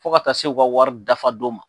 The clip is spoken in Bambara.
Fo ka taa se u ka wari dafadon ma.